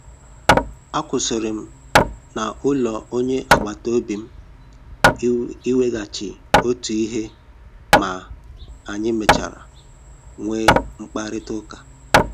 A kwụsịrị m na ụlọ onye agbata obi m iweghachi otu ihe ma anyị mechara nwee mkparịta ụka